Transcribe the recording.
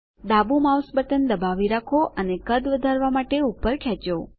ડાબુ mouse button દબાવી રાખો અને કદ વધારવા માટે ઉપર ખેંચો